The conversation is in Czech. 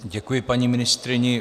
Děkuji paní ministryni.